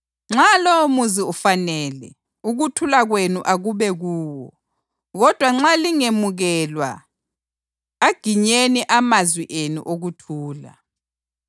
Nxa lowomuzi ufanele, ukuthula kwenu akube kuwo, kodwa nxa lingemukelwa aginyeni amazwi enu okuthula.